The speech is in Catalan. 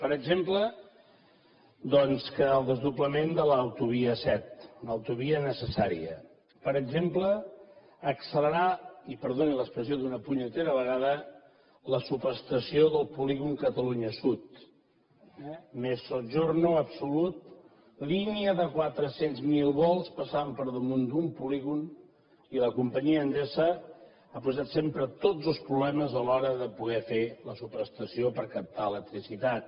per exemple doncs el desdoblament de l’autovia set una autovia necessària per exemple accelerar i perdonin l’expressió d’una punyetera vegada la subestació del polígon catalunya sud mezzogiorno absolut línia de quatre cents miler volts passant per damunt d’un polígon i la companyia endesa ha posat sempre tots els problemes a l’hora de poder fer la subestació per captar electricitat